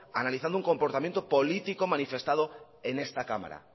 analizando un comportamiento político manifestado en esta cámara